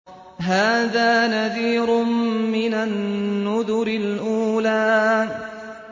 هَٰذَا نَذِيرٌ مِّنَ النُّذُرِ الْأُولَىٰ